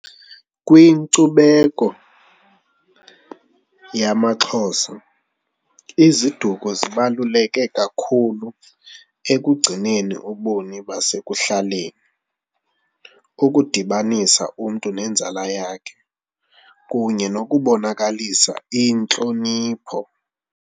Kwinkcubeko yamaXhosa iziduko zibaluleke kakhulu ekugcineni ubomi basekuhlaleni, ukudibanisa umntu nenzala yakhe kunye nokubonakalisa intlonipho.